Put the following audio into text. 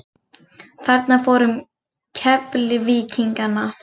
Þarna fór um Keflvíkingana.